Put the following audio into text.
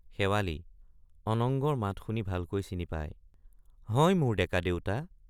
শেৱালি— অনঙ্গৰ মাত শুনি ভালকৈ চিনি পাই হয় মোৰ ডেকা দেউতা।